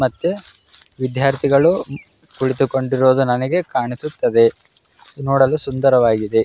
ಮತ್ತೆ ವಿದ್ಯಾರ್ಥಿಗಳು ಕುಳಿತುಕೊಂಡಿರುವುದು ನನಗೆ ಕಾಣಿಸುತ್ತದೆ ನೋಡಲು ಸುಂದರವಾಗಿದೆ.